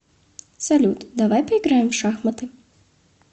салют давай поиграем в шахматы